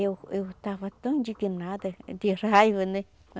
Eu, eu estava tão indignada, de raiva, né?